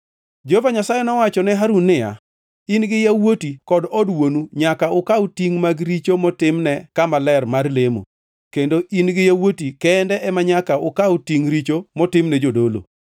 Jehova Nyasaye nowacho ne Harun niya, “In gi yawuoti kod od wuonu nyaka ukaw tingʼ mag richo motimne kama ler mar lemo, kendo in-gi yawuoti kende ema nyaka ukaw tingʼ richo motimne jodolo.